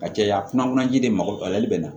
A cɛya fana man ji de mako lali bɛ na